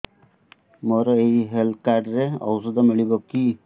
ମୋର ଏଇ health card ରେ ଔଷଧ ମିଳିବ କି